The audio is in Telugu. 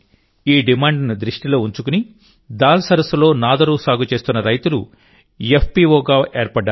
ఈ డిమాండ్ను దృష్టిలో ఉంచుకుని దాల్ సరస్సులో నాదరూ సాగు చేస్తున్న రైతులు ఎఫ్పీఓగా ఏర్పడ్డారు